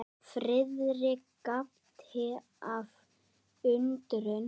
Friðrik gapti af undrun.